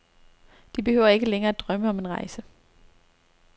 De behøver ikke længere at drømme om en rejse.